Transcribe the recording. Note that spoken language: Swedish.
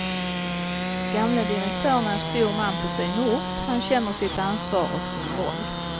Gamle direktörn är stor man på sin ort, han känner sitt ansvar och sin roll.